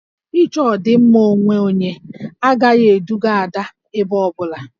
Ị chọ ọdịmma onwe onye agaghị eduga Ada ebe ọ bụla